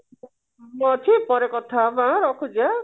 ମୁଁ ଅଛି ପରେ କଥାହବା ହେଲା ରଖୁଛି